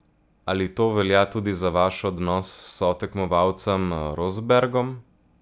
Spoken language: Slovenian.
Ali to velja tudi za vaš odnos s sotekmovalcem Rosbergom?